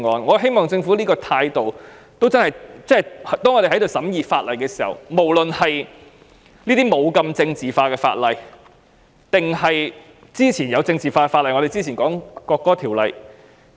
我希望政府亦以這種態度審議其他法案，不論是這類不太政治化的法案或是之前政治化的《國歌條例草案》。